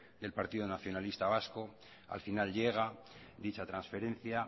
del partido nacionalista vasco al final llega dicha transferencia